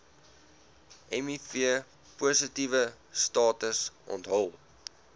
mivpositiewe status onthul